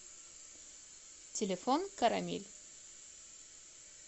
телефон карамель